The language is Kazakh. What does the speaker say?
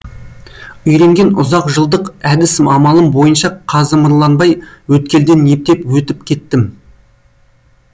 үйренген ұзақ жылдық әдіс амалым бойынша қазымырланбай өткелден ептеп өтіп кеттім